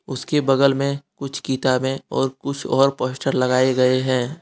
उसके बगल में कुछ किताबें और कुछ और पोस्टर लगाये गये है।